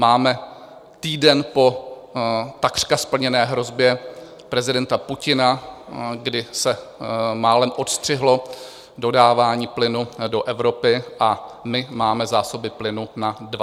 Máme týden po takřka splněné hrozbě prezidenta Putina, kdy se málem odstřihlo dodávání plynu do Evropy, a my máme zásoby plynu na 25 dní.